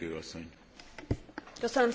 Tisztelt Képviselőtársaim!